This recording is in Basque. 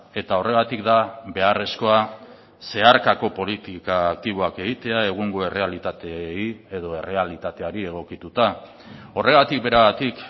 eta horregatik da beharrezkoa zeharkako politika aktiboak egitea egungo errealitateei edo errealitateari egokituta horregatik beragatik